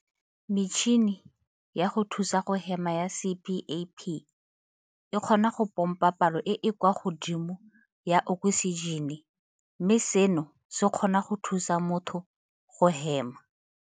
Metšhini ya go thusa go hema ya CPAP e kgona go pompa palo e e kwa godimo ya oksijene, mme seno se kgona go thusa motho go hema.